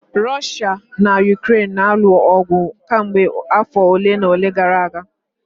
Russia na Ukraine na-alụ ọgụ kemgbe afọ ole na ole gara aga